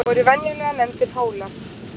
Voru venjulega nefndir Hólar.